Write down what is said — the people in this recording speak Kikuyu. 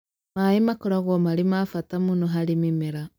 maaĩ makoragwo mari ma mbata mũno harĩ mĩmera